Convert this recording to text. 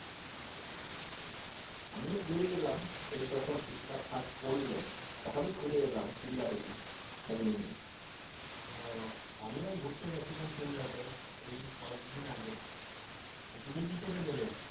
আমিও ঘুরে এলাম এই যখন শীতটা ফাস্ট পড়লো তখনই ঘুরে এলাম সিমলা থেকে ফ্যামিলি নিয়ে, ও আমিও গিয়েছিলাম সিমলাতে এই কয়েকদিন আগে তা তুমি কি করে গেলে?